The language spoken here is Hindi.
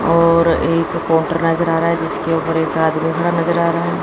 और एक नजर आ रहा है जिसके ऊपर के नजर आ रहा--